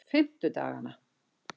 fimmtudagana